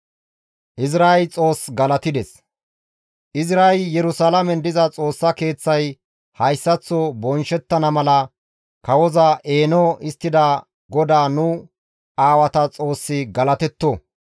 Izray, «Yerusalaamen diza Xoossa Keeththay hayssaththo bonchchettana mala kawoza eeno histtida GODAA nu aawata Xoossi galatetto.